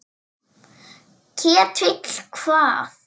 Ketill hvað?